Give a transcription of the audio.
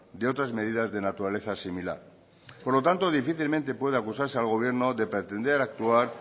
de otras medidas de naturaleza similar por lo tanto difícilmente puede acusarse al gobierno de pretender actuar